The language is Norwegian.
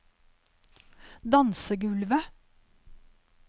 dansegulvet